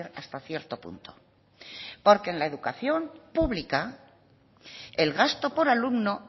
hasta cierto punto porque en la educación pública el gasto por alumno